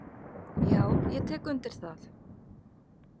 """Já, ég tek undir það."""